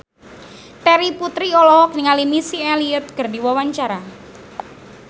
Terry Putri olohok ningali Missy Elliott keur diwawancara